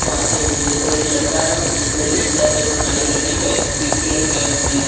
वहां पे एक उजले एक लड़का है उजली कलर शर्ट एवं काली कलर कि बैग पीठ पे लटकाया हुए हैं।